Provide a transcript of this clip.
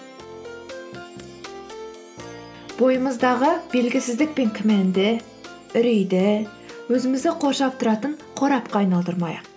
бойымыздағы белгісіздік пен күмәнді үрейді өзімізді қоршап тұратын қорапқа айналдырмайық